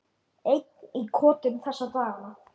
Einn í kotinu þessa dagana.